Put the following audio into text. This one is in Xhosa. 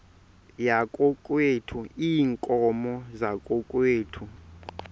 yakokwethu iinkomo zakokwethu